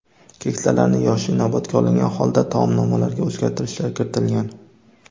Keksalarning yoshi inobatga olingan holda taomnomalarga o‘zgartirishlar kiritilgan.